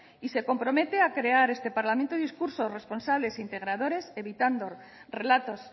y se compromete a crear este parlamento discursos responsables e integradores evitando relatos